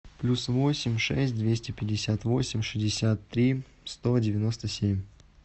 плюс восемь шесть двести пятьдесят восемь шестьдесят три сто девяносто семь